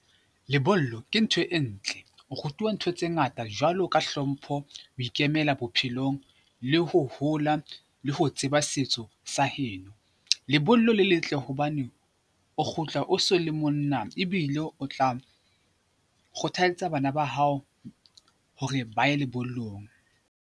Lebollo ke ntho e ntle, o rutuwa ntho tse ngata jwalo ka hlompho, ho ikemela bophelong le ho hola le ho tseba setso sa heno. Lebollo le letle hobane o kgutla o so le monna ebile o tla kgothalletsa bana ba hao hore ba ye lebollong.